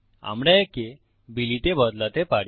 আমরা একে বিলি তে বদলাতে পারি